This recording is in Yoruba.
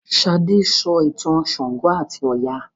Sade sọ ìtàn ṣàngó ati Oya.